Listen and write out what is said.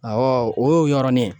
o y'o yɔrɔnin ye.